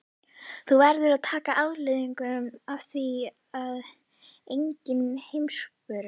Úti strýkur þeyrinn dökkbláa vínberjaklasana rétt áður en uppskeran hefst.